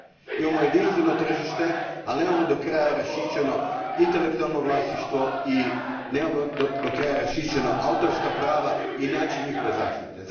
Imamo jedinstveno tržište, al nemamo do kraja raščišćeno intelektualno vlasništvo i nemamo do kraja raščišćena autorska prava i način njihove zaštite.